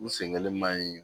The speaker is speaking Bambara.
U sen kelen man ɲi